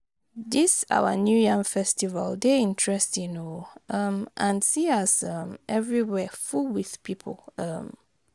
Dis our new yam festival dey interesting oo um and see as um everywhere full with people um